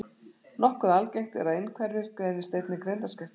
Nokkuð algengt er að einhverfir greinist einnig greindarskertir.